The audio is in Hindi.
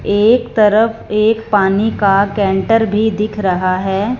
एक तरफ एक पानी का कैंटर भी दिख रहा है।